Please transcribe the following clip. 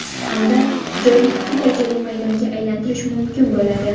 Hamda joyni ikki darajali maydonga aylantirish mumkin bo‘ladi.